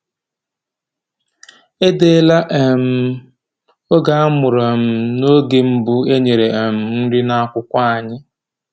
Edeela um m oge a mụrụ um na oge mbụ e nyere um nri n’akwụkwọ anyị.